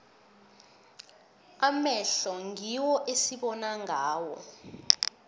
amehlo ngiwo esibona ngawo